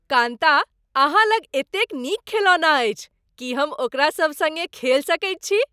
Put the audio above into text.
कान्ता, अहाँ लग एतेक नीक खेलौना अछि। की हम ओकरा सभ सङ्ग खेल सकैत छी?